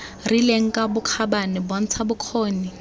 rileng ka bokgabane bontsha bokgoni